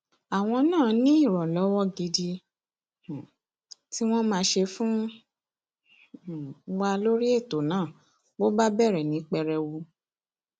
àwọn náà ní ìrànlọwọ gidi um tí wọn máa ṣe fún um wa lórí ètò náà bó bá bẹrẹ ní pẹrẹwu